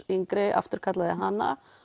yngri afturkallaði hana